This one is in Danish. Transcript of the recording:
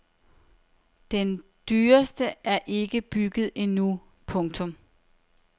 Den dyreste er ikke bygget endnu. punktum